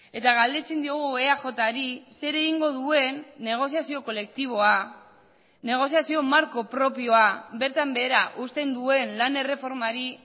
eta galdetzen diogu eaj ri zer egingo duen negoziazio kolektiboa negoziazio marko propioa bertan behera uzten duen lan erreformari